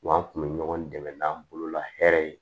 Wa an kun bɛ ɲɔgɔn dɛmɛ n'an bolola hɛrɛ ye